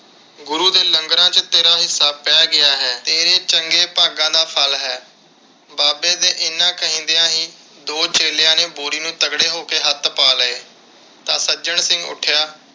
ਗੁਰੂ ਦੇ ਲੰਗਰਾਂ ਵਿਚ ਤੇਰਾ ਹਿੱਸਾ ਪੈ ਗਿਆ ਹੈ। ਤੇਰੇ ਚੰਗੇ ਭਾਗਾਂ ਦਾ ਫਲ ਹੈ। ਬਾਬੇ ਦੇ ਇੰਨੇ ਕਹਿੰਦਿਆ ਹੀ ਦੋ ਚੇਲਿਆਂ ਨੇ ਬੋਰੀ ਨੂੰ ਤਗੜੇ ਹੋ ਕੇ ਹੱਥ ਪਾ ਲਏ ਤਾਂ ਸੱਜਣ ਸਿੰਘ ਉੱਠਿਆ